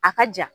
A ka ja